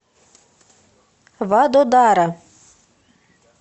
вадодара